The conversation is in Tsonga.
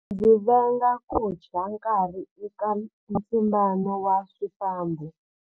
Ndzi venga ku dya nkarhi eka ntlimbano wa swifambo.